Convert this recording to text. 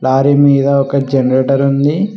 lorry మీద ఒక generator ఉంది